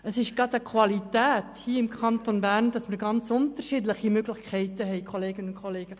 Es ist gerade eine Qualität hier im Kanton Bern, dass wir ganz unterschiedliche Möglichkeiten haben, Kolleginnen und Kollegen.